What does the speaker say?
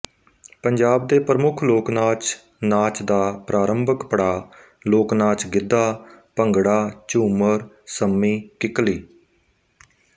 ਪੰਜਾਬ ਦੇ ਪ੍ਰਮੁੱਖ ਲੋਕਨਾਚ ਨਾਚ ਦਾ ਪ੍ਰਾਰੰਭਕ ਪੜਾਅ ਲੋਕਨਾਚ ਗਿੱਧਾ ਭੰਗੜਾਝੁੰਮਰ ਸੰਮੀ ਕਿੱਕਲੀ